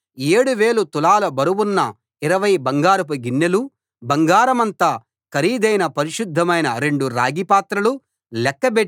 7000 తులాల బరువున్న 20 బంగారపు గిన్నెలు బంగారమంత ఖరీదైన పరిశుద్ధమైన రెండు రాగి పాత్రలు లెక్కబెట్టి